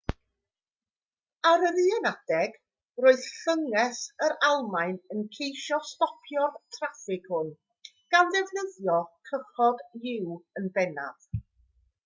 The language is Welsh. ar yr un adeg roedd llynges yr almaen yn ceisio stopio'r traffig hwn gan ddefnyddio cychod-u yn bennaf